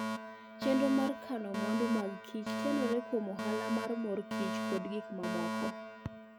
Chenro mar kano mwandu mag Kichtenore kuom ohala mar mor kich kod gik mamoko